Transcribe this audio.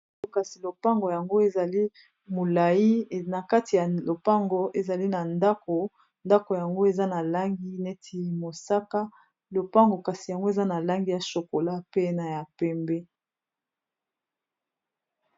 oto kasi lopango yango ezali molai na kati ya lopango ezali na ndako ndako yango eza na langi neti mosaka lopango kasi yango eza na langi ya chokola pena ya pembe